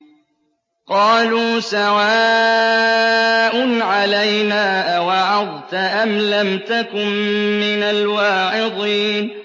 قَالُوا سَوَاءٌ عَلَيْنَا أَوَعَظْتَ أَمْ لَمْ تَكُن مِّنَ الْوَاعِظِينَ